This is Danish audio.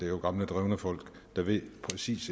jo gamle drevne folk der ved præcis